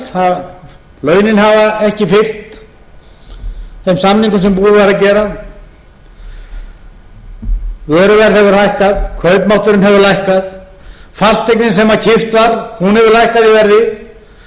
kvaðir launin hafa ekki fylgt þeim samningum sem búið var að gera vöruverð hefur hækkað kaupmátturinn hefur lækkað fasteignin sem keypt var hefur lækkað í verði og í mörgum